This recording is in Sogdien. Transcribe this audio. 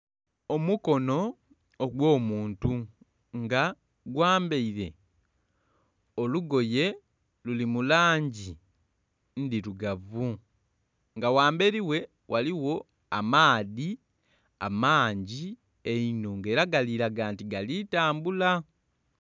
Omukono ogw'omuntu nga gwambaire olugoye luli mu langi ndhirugavu nga ghamberi ghe ghaligho amaadhi amangi einho nga era galiraga nti galitambula.